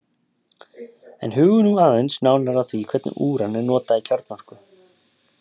En hugum nú aðeins nánar að því hvernig úran er notað í kjarnorku.